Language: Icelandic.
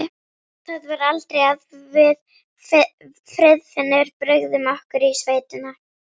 Það var aldrei að við Friðfinnur brugðum okkur í sveitina.